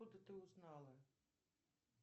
откуда ты узнала